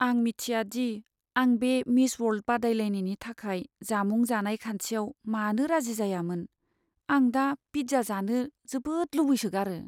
आं मिथिया दि आं बे मिस वर्ल्ड बादायलायनायनि थाखाय जामुं जानाय खान्थियाव मानो राजि जायामोन। आं दा पिज्जा जानो जोबोद लुबैसोगारो।